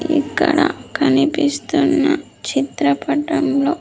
ఇక్కడ కనిపిస్తున్న చిత్రపటంలో.